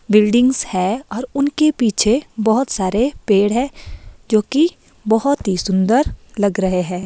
Buildings हैंऔर उनके पीछे बहुत सारे पेड़ हैं जो कि बहुत ही सुंदर लग रहे हैं।